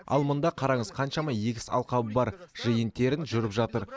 ал мында қараңыз қаншама егіс алқабы бар жиын терін жүріп жатыр